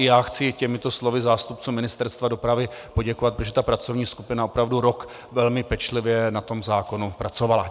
I já chci těmito slovy zástupcům Ministerstva dopravy poděkovat, protože ta pracovní skupina opravdu rok velmi pečlivě na tom zákonu pracovala.